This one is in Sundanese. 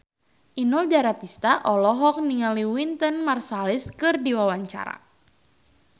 Inul Daratista olohok ningali Wynton Marsalis keur diwawancara